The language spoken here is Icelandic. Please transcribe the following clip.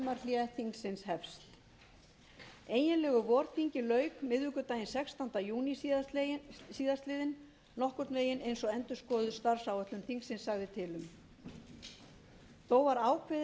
þingsins hefst eiginlegu vorþingi lauk miðvikudaginn sextánda júní síðastliðinn nokkurn veginn eins og endurskoðuð starfsáætlun þingsins sagði til um þó var ákveðið meðal annars til þess að vanda sérstaklega til lagasetningar